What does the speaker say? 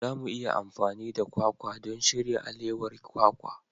Za mu iya amfani da kwakwa don shirya alewar kwakwa.